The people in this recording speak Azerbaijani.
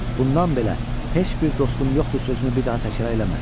Bundan belə heç bir dostum yoxdur sözünü bir daha təkrar eləmə.